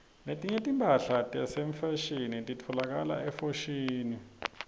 letinye timphahla tefashini titfolakala efoshini